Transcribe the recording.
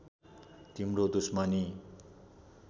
तिम्रो दुश्मनी